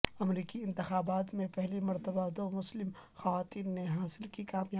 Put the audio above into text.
امریکی انتخابات میں پہلی مرتبہ دومسلم خواتین نے حاصل کی کامیابی